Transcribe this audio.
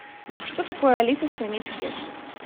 что такое алиса в стране чудес